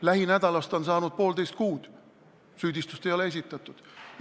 Lähinädalast on saanud poolteist kuud, süüdistust ei ole esitatud.